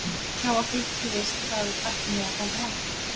hjá okkur þú veist hvað ætlum við að ganga langt